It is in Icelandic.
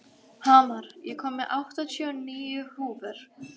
Hamar, ég kom með áttatíu og níu húfur!